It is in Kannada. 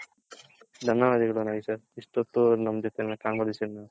ಧನ್ಯವಾದಗಳು ನಾಗೇಶ್ ಅವ್ರೆ ಇಷ್ಟೂತ್ತು ನಮ್ ಜೊತೆ Conversion ಮಾಡಿದಕ್ಕೆ